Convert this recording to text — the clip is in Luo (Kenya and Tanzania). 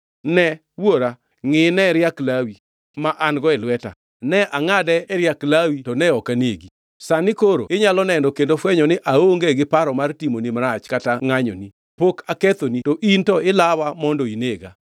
Ne, wuora, ngʼi ine riak lawi ma an-go e lweta! Ne angʼade e riak lawi to ne ok anegi. Sani koro inyalo neno kendo fwenyo ni aonge gi paro mar timoni marach kata ngʼanyoni. Pok akethoni to in to ilawa mondo inega.